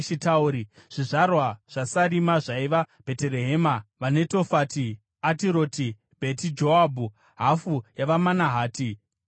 Zvizvarwa zvaSarima zvaiva: Bheterehema, vaNetofati, Atiroti Bheti Joabhu, hafu yavaManahati, vaZori,